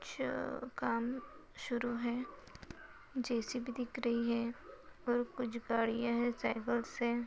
च--काम शुरु हैं जे_सी_बी दिख री हैं और कुछ गाड़ियाँ हैं साइकल्स हैं।